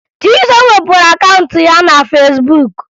Chisom wepụrụ akaụntụ ya na Fesbuk